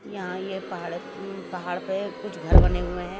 यहाँ ये पहाड़ पहाड़ पे कुछ घर बने हुए हैं।